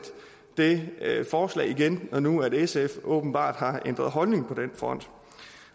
det forslag igen når nu sf åbenbart har ændret holdning på den front